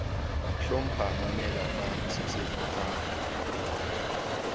hlompha mamela ka tshetshefo ka